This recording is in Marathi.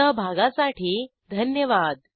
सहभागासाठी धन्यवाद